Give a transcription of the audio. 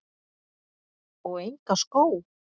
Og enga skó?